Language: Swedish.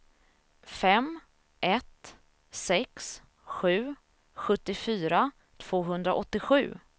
fem ett sex sju sjuttiofyra tvåhundraåttiosju